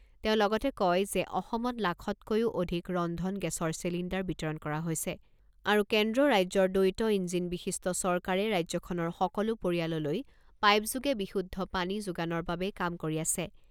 তেওঁ লগতে কয় যে অসমত লাখতকৈও অধিক ৰন্ধন গেছৰ চিলিণ্ডাৰ বিতৰণ কৰা হৈছে আৰু কেন্দ্ৰ ৰাজ্যৰ দ্বৈত ইঞ্জিন বিশিষ্ট চৰকাৰে ৰাজ্যখনৰ সকলো পৰিয়াললৈ পাইপ যোগে বিশুদ্ধ পানী যোগানৰ বাবে কাম কৰি আছে।